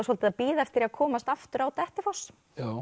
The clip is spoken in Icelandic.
svolítið að bíða eftir að komast aftur á Dettifoss